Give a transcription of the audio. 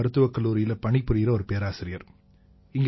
மருத்துவக் கல்லூரியில பணிபுரியற ஒரு பேராசிரியர்